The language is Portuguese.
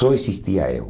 Só existia eu.